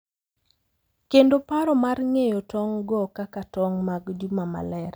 Kendo paro mar ng’eyo tong' go kaka tong’ mag “Juma Maler” .